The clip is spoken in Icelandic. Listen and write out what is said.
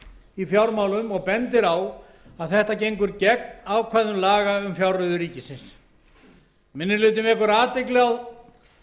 í fjármálum og bendir á að þetta gengur gegn ákvæðum laga um fjárreiður ríkisins minni hlutinn vekur athygli á